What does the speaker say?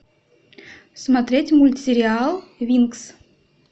смотреть мультсериал винкс